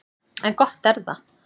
En gott er það.